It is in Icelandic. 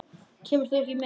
Kemur þú ekki með?